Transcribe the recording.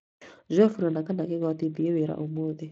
njoe fulana kana kigoti thĩĩ wĩra ũmũthĩ